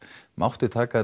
mátti taka